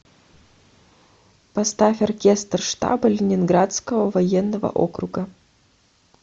поставь оркестр штаба ленинградского военного округа